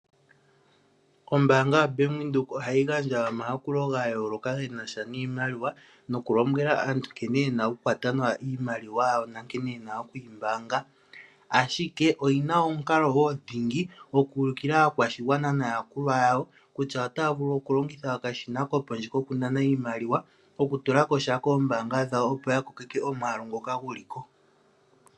Ombaanga yaBank Windhoek ohayi gandja omayakulo gayooloka genasha niimaliwa, nokulombwela aantu nkene yena okukwata nawa iimaliwa yawo, nankene yena okuyi mbaanga , ashike oyina omukalo wo dhingi gokuvulukilwa aakwashigwana naayakulwa yawo kutya otaya vulu okulongitha okashina kopondje kokunana iimaliwa, kokutulako sha koombaanga dhawo opo yakaleke omwaalu ngoka guli ko.